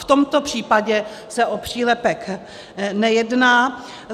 V tomto případě se o přílepek nejedná.